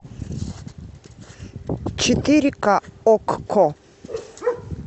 четыре ка окко